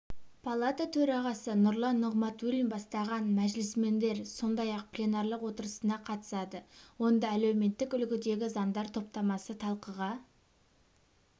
палата төрағасы нұрлан нығматулин бастаған мәжілісмендер сондай-ақ пленарлық отырысына қатысады онда әлеуметтік үлгідегі заңдар топтамасы талқыға